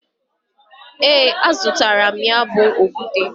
E, azutaram ya bu okute.